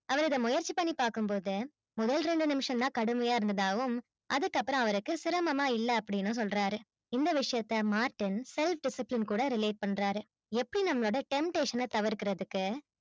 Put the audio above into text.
அவர் இத முயற்சி பண்ணிப்பாக்கும் போது முதல் ரெண்டு நிமிஷம் தான் கடுமையா இருந்ததாவும், அதுக்கப்பறம் அவருக்கு சிரமமா இல்ல அப்டினு சொல்றாரு இந்த விஷயத்த மார்டின் self discipline கூட relate பண்றாரு. எப்படி நம்மளோட temptation தவிர்க்கறதுக்கு